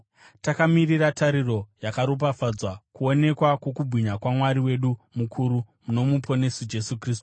takamirira tariro yakaropafadzwa, kuonekwa kwokubwinya kwaMwari wedu mukuru noMuponesi, Jesu Kristu,